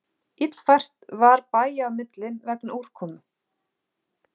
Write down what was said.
Illfært var bæja á milli vegna úrkomu